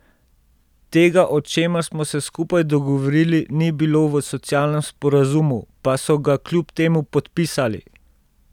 Tega, o čemer smo se skupaj dogovorili, ni bilo v socialnem sporazumu, pa so ga kljub temu podpisali.